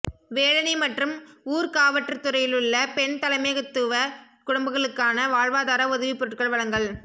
வேலணை மற்றும் ஊர்காவற்றுறையிலுள்ள பெண் தலைமைத்துவக் குடும்பங்களுக்கான வாழ்வாதார உதவிப் பொருட்கள் வழங்கல்